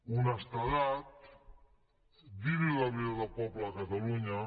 honestedat dir la veritat al poble de catalunya